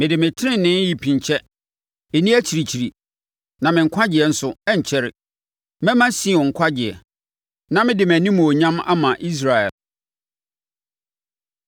Mede me tenenee repinkyɛ, ɛnni akyirikyiri; na me nkwagyeɛ nso, ɛrenkyɛre. Mɛma Sion nkwagyeɛ, na mede mʼanimuonyam ama Israel.